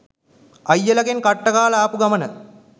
අයියලාගෙන් කට්ට කාල ආපු ගමන